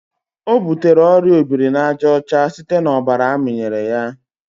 ọ butere oria obirinajaọcha site na ọbara amịnyere ya.